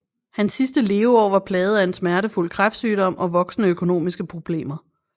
Hans sidste leveår var plaget af en smertefuld kræftsygdom og voksende økonomiske problemer